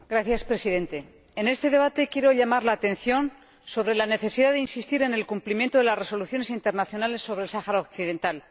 Señor Presidente, en este debate quiero llamar la atención sobre la necesidad de insistir en el cumplimiento de las resoluciones internacionales sobre el Sáhara Occidental.